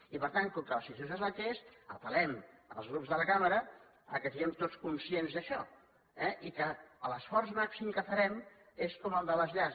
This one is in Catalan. i per tant com que la situació és la que és apel·lem als grups de la cambra que siguem tots conscients d’això eh i que l’esforç màxim que farem és com el de les llars